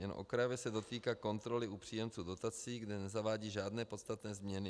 Jen okrajově se dotýká kontroly u příjemců dotací, kde nezavádí žádné podstatné změny.